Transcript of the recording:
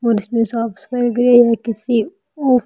और इसमें साफ-सफाई गई है किसी और--